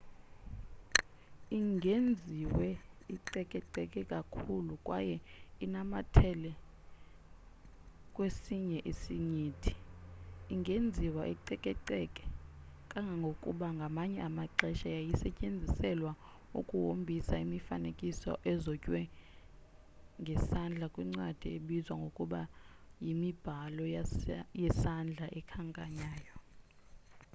ingenziwa icekeceke kakhulu kwaye inamathele kwesinye isinyithi ingenziwa icekeceke kangangokuba ngamanye amaxesha yayisetyenziselwa ukuhombisa imifanekiso ezotywe ngesandla kwiincwadi ezibizwa ngokuba yimibhalo yesandla ekhanyayo